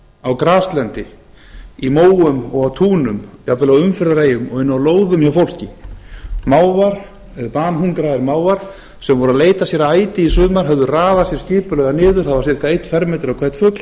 á graslendi í móum og túnum jafnvel á umferðareyjum og inni á lóðum hjá fólki banhungraðir mávar sem voru að leita sér að æti í sumar höfðu raðað sér skipulega niður það var sirka einn fermetri á hvern fugl